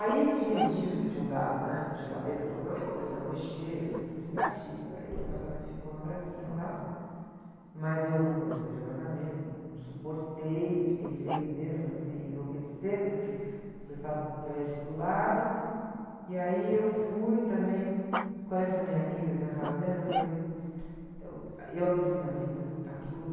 Aí tinha uns tios que tinham dado, né, geladeira, fogão, aí começamos a mexer, eu sempre fui muito criativa, aí o apartamento ficou uma gracinha, tal. Mas eu nunca gostei de apartamento, não suportei, fiquei seis meses, já comecei a enlouquecer, porque começaram um prédio do lado, e aí eu fui também com essa minha amiga que tem uma fazenda, eu falei, eu, eu acredito que na vida, está tudo...